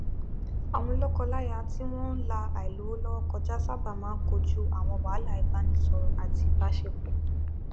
àwọn lọkọláya tí wọn n la àìlówólọwọ kọjá sábà máa n kojú àwọn wàhálà ìbánisọrọ àti ìbáṣepọ